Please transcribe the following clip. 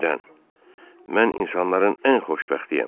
Mən insanların ən xoşbəxtiyəm.